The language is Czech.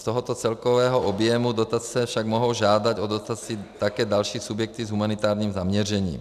Z tohoto celkového objemu dotace však mohou žádat o dotaci také další subjekty s humanitárním zaměřením.